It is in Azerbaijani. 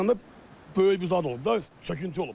Maşın tərəf gedəndə böyük bir zad olub da, çöküntü olub.